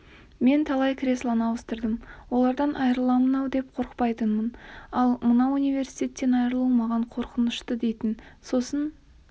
мен талай креслоны ауыстырдым олардан айырыламын-ау деп қорықпайтынмын ал мынау университеттен айырылу маған қорқынышты дейтін сосын